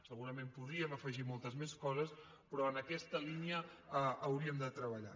segurament hi podríem afegir moltes més coses però en aquesta línia hauríem de treballar